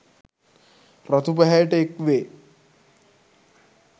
රතු පැහැයට එක්වේ